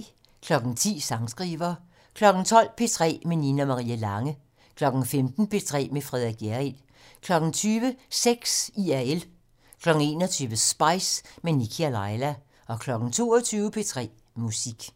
10:00: Sangskriver 12:00: P3 med Nina Marie Lange 15:00: P3 med Frederik Hjerrild 20:00: Sex IRL 21:00: Spice - med Nikkie og Laila 22:00: P3 Musik